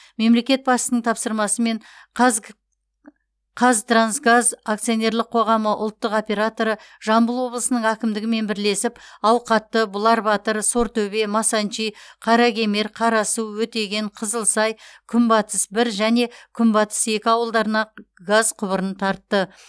мемлекет басшысының тапсырмасымен қаз қазтрансгаз акционерлік қоғамы ұлттық операторы жамбыл облысының әкімдігімен бірлесіп ауқатты бұлар батыр сортөбе масанчи қаракемер қарасу өтеген қызылсай күнбатыс бір және күнбатыс екі ауылдарына газ құбырын тартты